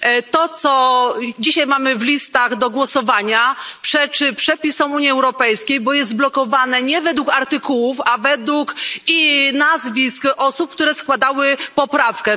To, co dzisiaj mamy na listach do głosowania, przeczy przepisom Unii Europejskiej, bo jest blokowane nie według artykułów, a według nazwisk osób, które składały poprawkę.